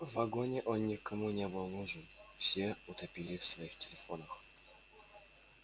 в вагоне он никому не был нужен все утопли в своих телефонах